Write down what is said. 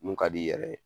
Mun ka d'i yɛrɛ ye